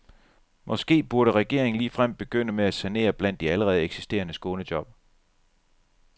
Måske burde regeringen ligefrem begynde med at sanere blandt de allerede eksisterende skånejob.